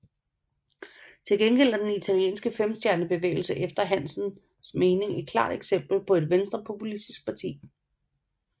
Til gengæld er den italienske Femstjernebevægelse efter Hansens mening et klart eksempel på et venstrepopulistisk parti